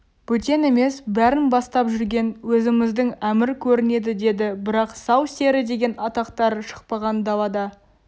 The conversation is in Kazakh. бөтен емес бәрін бастап жүрген өзіміздің әмір көрінеді деді бірақ сал-сері деген атақтары шықпаған далада